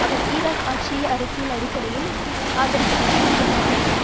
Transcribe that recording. அவர் Iraq ஆட்சியை அரசியல் அடிப்படையில் ஆதரிப்பதாக குற்றம் சாட்டினர்